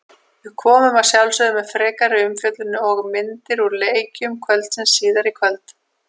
Við komum að sjálfsögðu með frekari umfjöllun og myndir úr leikjum kvöldsins síðar í kvöld.